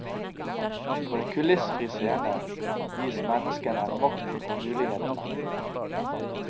På en kulissefri scene gis menneskene makten og mulighetene.